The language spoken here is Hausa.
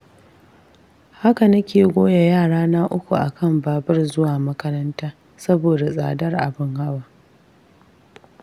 Haka nake goya yarana uku akan babur zuwa makaranta, saboda tsadar abin hawa.